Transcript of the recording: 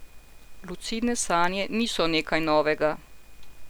Lucidne sanje niso nekaj novega.